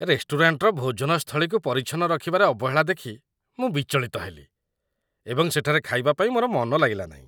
ରେଷ୍ଟୁରାଣ୍ଟର ଭୋଜନ ସ୍ଥଳୀକୁ ପରିଚ୍ଛନ୍ନ ରଖିବାରେ ଅବହେଳା ଦେଖି ମୁଁ ବିଚଳିତ ହେଲି, ଏବଂ ସେଠାରେ ଖାଇବା ପାଇଁ ମୋର ମନ ଲାଗିଲା ନାହିଁ।